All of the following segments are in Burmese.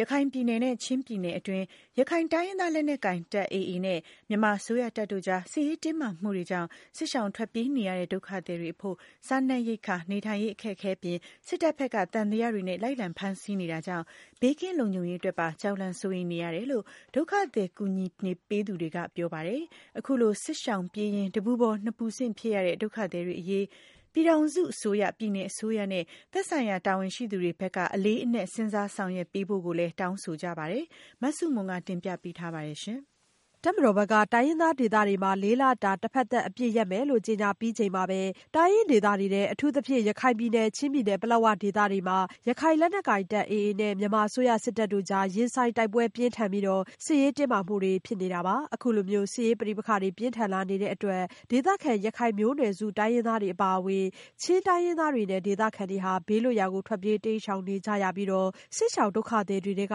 ရခိုင်ပြည်နယ်နဲ့ ချင်းပြည်နယ်တွင်း ရခိုင်တိုင်းရင်းသားလက်နက်ကိုင်တပ် AA နဲ့ မြန်မာအစိုးရတပ်တို့ကြား စစ်ရေးတင်းမာမှုတွေကြောင့် စစ်ရှောင်ထွက်ပြေးနေရတဲ့ ဒုက္ခသည်တွေအဖို့ စားနပ်ရိက္ခာ၊ နေထိုင်ရေးအခက်အခဲအပြင် စစ်တပ်ဘက်က သံသယတွေနဲ့ လိုက်လံဖမ်းဆီးနေတာကြောင့် ဘေးကင်းလုံခြုံရေးအတွက်ပါ ကြောက်လန့် စိုးရိမ်နေကြရတယ်လို့ ဒုက္ခသည်ကူညီပေးနေသူတွေက ပြောပါတယ်။ အခုလို စစ်ရှောင်ပြေးရင်း တပူပေါ်နှစ်ပူဆင့်ဖြစ်နေကြရတဲ့ ဒုက္ခသည်တွေအရေး ပြည်ထောင်စုအစိုးရ၊ ပြည်နယ်အစိုးရနဲ့ သက်ဆိုင်ရာတာဝန်ရှိသူတွေဘက်က အလေးအနက် စဉ်းစားဆောင်ရွက်ပေးဖို့ကိုလည်း တောင်းဆိုကြပါတယ်။ မဆုမွန် တင်ပြပေးထားပါတယ်။ တပ်မတော်ဘက်က တိုင်းရင်းသားဒေသတွေမှာ လေးလတာ တဘက်သတ်အပစ်ရမယ်လို့ ကြေညာပြီးချိန်မှာပဲ တိုင်းရင်းဒေသတွေထဲ အထူးသဖြင့် ရခိုင်ပြည်နယ်နဲ့ ချင်းပြည်နယ် ပလက်ဝဒေသတွေမှာ ရခိုင်လက်နက်ကိုင်တပ် AA နဲ့ မြန်မာအစိုးရစစ်တပ်တို့ကြား ရင်ဆိုင်တိုက်ပွဲပြင်းထန်ပြီး စစ်ရေးတင်းမာမှုတွေဖြစ်ခဲ့တာပါ။ အခုလိုမျိုး စစ်ရေးပဋိပက္ခတွေ ပြင်းထန်လာတဲ့အတွက် ဒေသခံ ရခိုင်မျိုးနွယ်စု တိုင်းရင်းသားတွေအပါအဝင် ချင်းတိုင်းရင်းသားတွေနဲ့ ဒေသခံတွေ ဘေးလွတ်ရာကို ထွက်ပြေးတိမ်းရှောင်နေကြရပြီးတော့ စစ်ရှောင် ဒုက္ခသည်တွေထဲက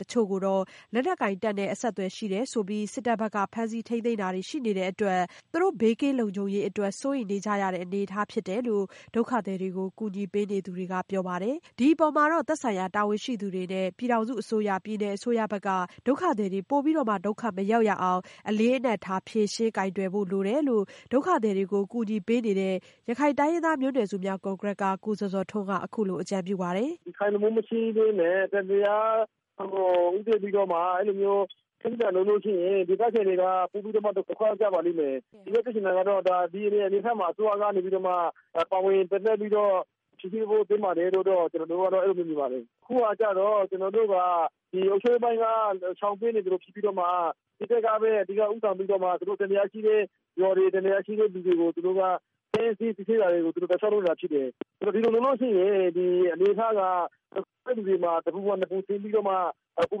တချို့ကို လက်နက်ကိုင်တပ်နဲ့အဆက်အသွယ်ရှိတယ်ဆိုပြီး စစ်တပ်ဘက်က ဖမ်းဆီးထိန်းသိမ်းတာတွေရှိနေတဲ့အတွက် သူတို့ဘေးကင်းလုံခြုံရေးအတွက် စိုးရိမ်နေကြရတဲ့အနေအထားဖြစ်တယ်လို့ ဒုက္ခသည်တွေကို ကူညီပေးနေသူတွေကပြောပါတယ်။ ဒီအပေါ်မှာတော့ သက်ဆိုင်ရာတာဝန်ရှိသူတွေနဲ့ ပြည်ထောင်စုအစိုးရ၊ ပြည်နယ်အစိုးရဘက်က ဒုက္ခသည်တွေ ပိုပြီး ဒုက္ခမရောက်ရအောင် အလေးအနက်ထား ဖြေရှင်းကိုင်တွယ်ဖို့လိုတယ်လို့ ဒုက္ခသည်တွေကို ကူညီပေးနေတဲ့ ရခိုင်တိုင်းရင်းသားမျိုးနွယ်များ အစည်းအရုံးက ကိုဇော်ဇော်ထွန်းက အခုလိုအကြံပြုပါတယ်။ "ဒီရခိုင်အရေးကို မဖြေရှင်းပဲနဲ့ အဲလိုမျိုးပြင်းအထန်လုပ်ရင် ဒေသခံတွေက ပိုပြီးတော့မှ ဒုက္ခရောက်ကြပါလိမ့်မယ်။ ဦးလေးပြောချင်တာကတော့ ဒီအနေအထားမှာ အစိုးရကနေပြီးတော့ ပါဝင်ပြီးတော့ ဖြေရှင်းပေးဖို့သင့်တယ်လို့ ကျနော်တို့ အဲလိုမျိုးမြင်ပါတယ်။ အခုကျတော့ ကျနော်တို့က ဒီအုပ်ချုပ်ရေးပိုင်းက ရှောင်နေသလိုဖြစ်ပြီးတော့မှ စစ်တပ်ကပဲ ဦးဆောင်ပြီးတော့ သူတို့ သံသယရှိတဲ့လူတွေ၊ ရွာတွေကို ဖမ်းဆီးစစ်ဆေးနေတာတွေကို လုပ်နေတာတွေဖြစ်တယ်။ ဒီလိုဆိုရင် အနေအထားက တဖက်လူတွေပေါ်မှာ တဘူပေါ် နှစ်ဘူတင်နေပါလိမ့်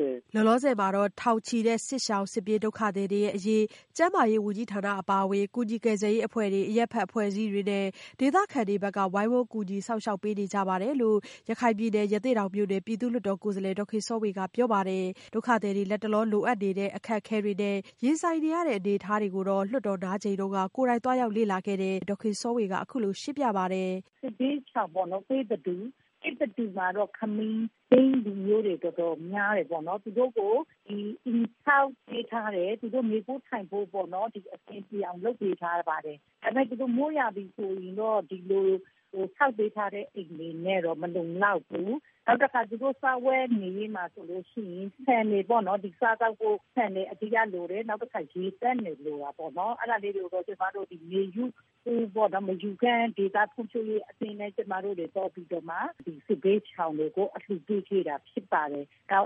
မယ်။" လောလောဆယ်မှာတော့ ထောင်ချီတဲ့ စစ်ပြေးစစ်ရှောင်ဒုက္ခသည်တွေအရေး ကျန်းမာရေးဝန်ကြီးဌာနအပါအဝင် ကူညီကယ်ဆယ်ရေးအဖွဲ့တွေ၊ အရပ်ဖက်အဖွဲ့အစည်းတွေနဲ့ ဒေသခံတွေဘက်က ဝိုင်းဝန်းကူညီစောင့်ရှောက်ပေးနေကြတယ်လို့ ရခိုင်ပြည်နယ် ရသေ့တောင်မြို့နယ် ပြည်သူ့လွှတ်တော်ကိုယ်စားလှယ် ဒေါ်ခင်စောဝေကပြောပါတယ်။ ဒုက္ခသည်တွေ လတ်တလောလိုအပ်နေတဲ့ အခက်ခဲတွေနဲ့ ရင်ဆိုင်နေရတဲ့အနေအထားတွေကိုလည်း လွှတ်တော်နားချိန်တုန်းက ကိုယ်တိုင်သွားရောက်လေ့လာခဲ့တဲ့ လွှတ်တော်ကိုယ်စားလှယ်ဒေါ်ခင်စောဝေက အခုလိုရှင်းပြပါတယ်။ "စစ်ဘေးရှောင်တွေပေါ့နော် သစ်တတူမှာတော့ ခမီးလူမျိုးတွေ တော်တော်များတယ်။ သူတို့ကို အိမ်ဆောက်ပေးထားတယ်၊ သူတို့ နေဖို့ထိုင်ဖို့ကို အဆင်ပြေအောင်လုပ်ပေးထားတယ်။ ဒါပေမယ့် သူတို့ မိုးရာသီဆိုရင်တော့ ဒီလိုဆောက်ပေးထားတဲ့ အိမ်တွေနဲ့တော့မလုံလောက်ဘူး။ နောက်တခါ သူတို့ စားဝတ်နေရေးမှာဆိုရင် ဆန်တွေပေ့ါနော် သူတို့ စားသောက်ဖို့ ဆန်တွေအဓိကလိုတယ်။ နောက်တခါ ရေသန့်တွေ လိုတာပေါ့နော်။ အဲဒါကိုတော့ ကျမတို့ မေယူဖွံ့ဖြိုးဒေသရေးအသင်းနဲ့ ပူးပေါင်းပြီးတော့ စစ်ဘေးရှောင်တွေကို အလှူပေးတာပေါ့နော်။ နော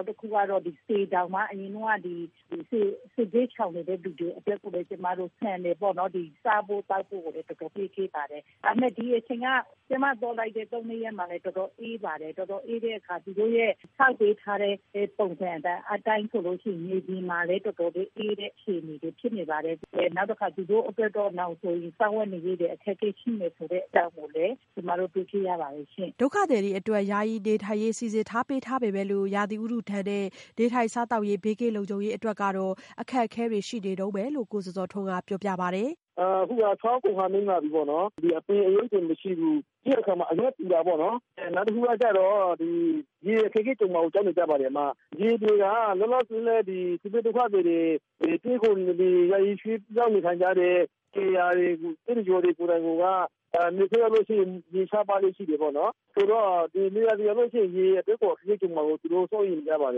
က်တခုကတော့ စေတောင်မှာ အရင်တုန်းကတော့ စစ်ဘေးရှောင်နေတဲ့လူတွေအတွက်ကို ကျမတို့ ဆန်တွေပေါ့နော် စားဖို့သောက်ဖို့ကို ကျမတို့ပေးပါတယ် ဆိုတော့ ဒီအချိန်က ကျမသွားတဲ့ ၃-၄ ရက်မှာလည်း တော်တော်အေးပါတယ်။ တော်တော်အေးတဲ့အခါသူတို့ရဲ့ ဆောက်ပေးထားတဲ့ ပုံစံအတိုင်းဆိုရင် မြေက တော်တော်လေးအေးတဲ့အခြေအနေဖြစ်နေပါတယ်။ နောက်ပြီးတော့ သူတို့အတွက်နောင်ဆိုရင် စားဝတ်နေရေးတွေ အခက်အခဲရှိမယ်ဆိုတဲ့အကြောင်း ကျမတို့ တွေ့ခဲ့ရပါတယ်။" ဒုက္ခသည်တွေအတွက် ယာယီနေထိုင်ရေးစီစဉ်ပေးထားပေမဲ့လို့ ရာသီဥတုဒဏ်နဲ့ နေထိုင်စားသောက်ရေးနဲ့ဘေးကင်းလုံခြုံရေးအတွက်တော့ အခက်ခဲတွေရှိနေတုန်းပဲလို့ ကိုဇော်ဇော်ထွန်းကပြောပြပါတယ်။ " အခုက ဆောင်းကုန်ခါနီးလာပြီပေါ့နော်။ ဒီအပင်အရိပ်တွေမရှိဘူး။ပြီးတဲ့အခါမှာ အရွက်ပူတာပေါ့နော်။ နောက်တခုကတော့ ရေအခက်အခဲကြုံမှာကို ကြောက်နေကြပါတယ်။ ရေလိုတာက လောလောဆည် စစ်ဘေးဒုက္ခသည်တွေ ယာယီရွှေ့ပြောင်းနေထိုင်ကြတဲ့ နေရာကိုက နွေရာသီရောက်ရင် ရေရှားပါးလေ့ရှိတယ်ပေါ့နော်။ ဆိုတော့ နွေရာသီရောက်ရင် ရေအခက်အခဲကြုံမှာကို သူတို့ စိုးရိမ်နေပါတ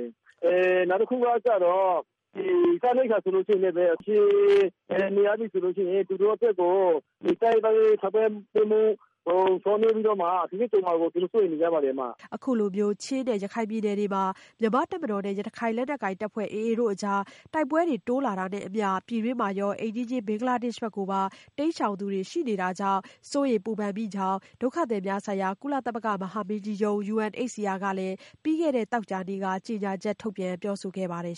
ယ်။ နောက်တခုကတော့ စားနပ်ရိပ်က္ခာဆိုရင်လည်း နေမြေအနေအထားအရ အခက်အခဲကြုံမှာကို စိုးရိမ်နေပါတယ်။" အခုလိုချင်းနဲ့ရခိုင်ပြည်နယ်တွေမှာ မြန်မာတပ်မတော်နဲ့ ရခိုင်လက်နက်ကိုင်တပ်ဖွဲ့ AA တို့ကြား တိုက်ပွဲတွေ တိုးလာတာနဲ့အမျှ ပြည်တွင်းမှာရော၊ အိမ်နီးချင်း ဘင်္ဂလားဒေ့ရှ်ဘက်ကိုပါ ထွက်ပြေးသူတွေ ရှိနေတာကြောင့် စိုးရိမ်စိတ်ပူကြောင်း ္ဂ ဒုက္ခသည်များဆိုင်ရာ ကုလသမဂ္ဂမဟာမင်းကြီးရုံးUNHCR က ပြီးခဲ့တဲ့သောကြာနေ့က ကြေညာချက် ထုတ်ပြန်ပြောဆိုခဲ့ပါတယ်